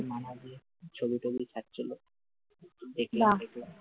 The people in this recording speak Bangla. মানালির ছবিটবি দেখাচ্ছিল, দেখলাম দেখলাম